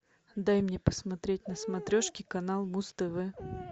дай мне посмотреть на смотрешке канал муз тв